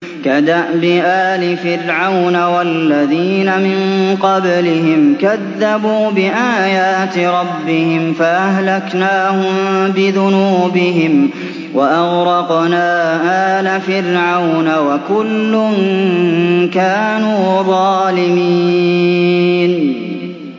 كَدَأْبِ آلِ فِرْعَوْنَ ۙ وَالَّذِينَ مِن قَبْلِهِمْ ۚ كَذَّبُوا بِآيَاتِ رَبِّهِمْ فَأَهْلَكْنَاهُم بِذُنُوبِهِمْ وَأَغْرَقْنَا آلَ فِرْعَوْنَ ۚ وَكُلٌّ كَانُوا ظَالِمِينَ